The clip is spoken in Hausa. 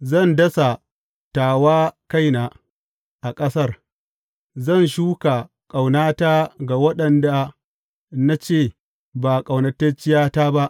Zan dasa ta wa kaina a ƙasar; zan shuka ƙaunata ga wanda na ce Ba ƙaunatacciyata ba.’